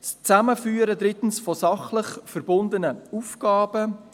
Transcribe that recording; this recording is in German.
drittens, das Zusammenführen von sachlich verbundenen Aufgaben;